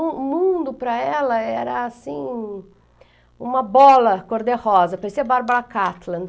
O mundo para ela era assim, uma bola cor-de-rosa, parecia a Bárbara Catlin.